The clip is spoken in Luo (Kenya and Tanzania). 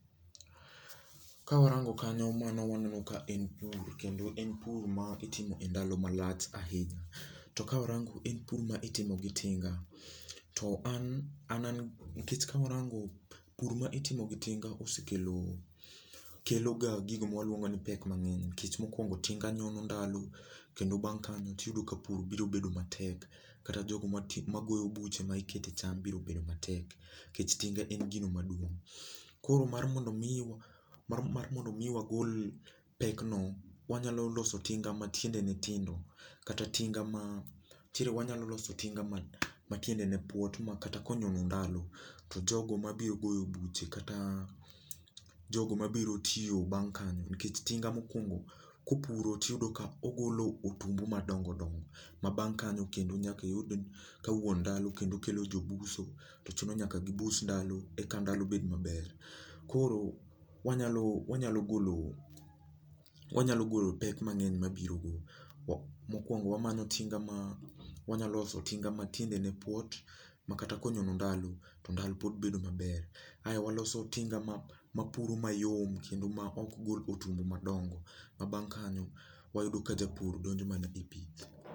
Kawarango kanyo mano waneno ka en pur kendo en pur maitimo e ndalo malach ahinya. To kawarango en pur ma itimo gi tinga. To an, an an nikech kawarango pur ma itimo gi tinga osekelo, keloga gigo mwaluongo ni pek mang'eny nikech mokwongo tinga nyono ndalo, kendo bang' kanyo tiyudo ka pur biro bedo matek kata jogo ma ma goyo buche ma ikete cham biro bedo matek, kech tinga en gino maduong'. Koro mar mondo miwa mar mar mondo mi wagol pek no, wanyalo loso tinga ma tiendene tindo, kata tinga ma, nitiere wanyalo loso tinga ma ma tiendene puot ma kata konyono ndalo, to jogo mabiyo goyo buche kata jogo mabiro tiyo bang' kanyo nikech tinga makwongo kupuro tiyudo ka ogolo otumbu madongodongo, ma bang' kanyo kendo nyak iyud ka wuon ndalo kendo kelo jobuso, to chuno nyaka kibus ndalo eka ndalo bed maber. Koro, wanyalo wanyalo golo wanyalo golo pek mang'eny mabiro go. Wa mokwongo wamanyo tinga ma, wanyaloso tinga ma tiendene puot, ma kata konyono ndalo, to ndalo pod bedo maber. Ae waloso tinga ma mapuro mayom, kendo ma ok gol otumbu madongo. Ma bang' kanyo wayudo ka japur donjo mana e pith